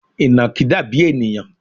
Ìnàkí dàbí ènìyàn